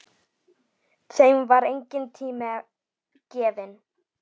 Þeim var enginn tími gefinn.